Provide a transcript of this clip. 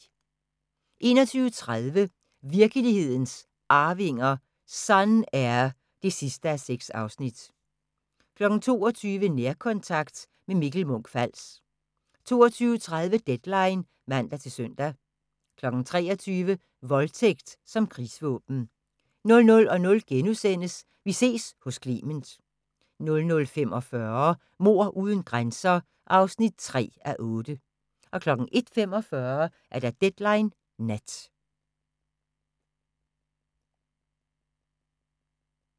21:30: Virkelighedens Arvinger: Sun-Air (6:6) 22:00: Nærkontakt – med Mikkel Munch-Fals 22:30: Deadline (man-søn) 23:00: Voldtægt som krigsvåben 00:00: Vi ses hos Clement * 00:45: Mord uden grænser (3:8) 01:45: Deadline Nat